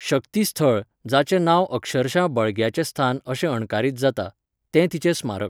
शक्तीस्थळ, जाचें नांव अक्षरशः बळग्याचें स्थान अशें अणकारीत जाता. तें तिचें स्मारक.